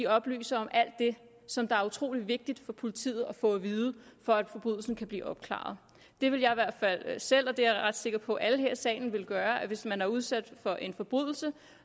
oplyser om alt det som er utrolig vigtigt for politiet at få at vide for at forbrydelsen kan blive opklaret det ville jeg i hvert fald selv gøre og det er jeg ret sikker på at alle her i salen ville gøre hvis man er udsat for en forbrydelse